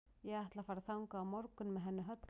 Ég ætla að fara þangað á morgun með henni Höllu.